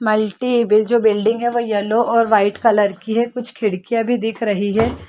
Multi बि जो building है वो येल्लो ओर व्हाइट कलर की है कुछ खिड़किया भी दिख रही है।